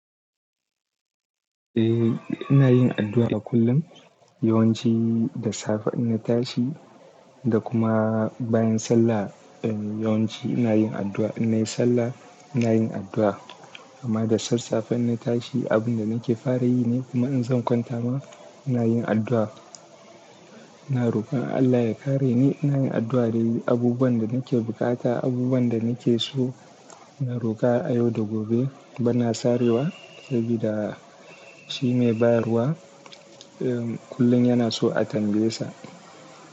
Eh ina yin addua kullum. Yawanci da safe in na tashi, da kuma bayan sallah yawanci ina yin addu'a, in nayi sallah ina yin addu'a. Amma da sassafe in na tashi, abun da nake fara yi ne kuma in zan kwanta ma ina yin addu'a. Ina rokar Allah ya kare ni, ina yin addu'a da abubuwan da nake bukata, abubuwan da nake so. Ina rokar a yau da gobe bana sarewa sabida shi mai bayarwa kullum yana so a tambaye sa.